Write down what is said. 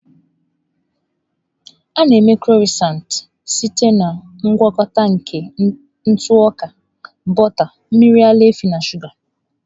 A na-eme Crọisantị site na ngwakọta nke ntụ ọka, bọta, mmiri ara ehi na shụga.